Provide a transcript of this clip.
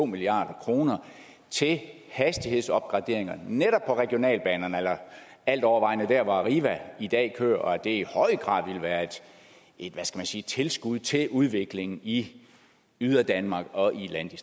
milliard kroner til hastighedsopgraderinger netop på regionalbanerne eller altovervejende der hvor arriva i dag kører og at det i høj grad ville være et tilskud til udvikling i yderdanmark og